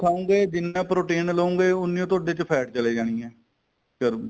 ਖਾਉਗੇ ਜਿੰਨਾ protein ਲੋਗੇ ਉੰਨੀ ਤੁਹਡੇ ਚ fat ਚਲੇ ਜਾਣੀ ਏ ਅਹ